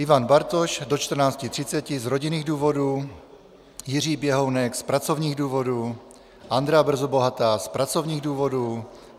Ivan Bartoš do 14.30 z rodinných důvodů, Jiří Běhounek z pracovních důvodů, Andrea Brzobohatá z pracovních důvodů.